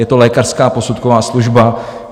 Je to lékařská posudková služba.